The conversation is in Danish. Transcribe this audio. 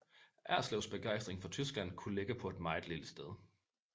Erslevs begejstring for Tyskland kunne ligge på et meget lille sted